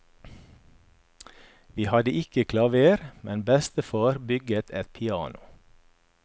Vi hadde ikke klaver, men bestefar bygget et piano.